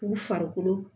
K'u farikolo